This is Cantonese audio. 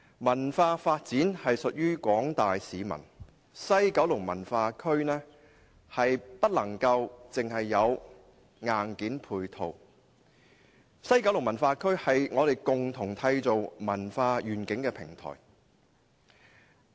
文化發展屬於廣大市民，西九文化區不能只講求硬件配套，而是共同締造文化願景的平台。